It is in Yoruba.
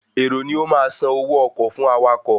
Èrò ni ó ma san owó ọkọ̀ fún awakọ̀